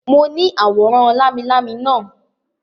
Mo ní àwòrán lámilámi naa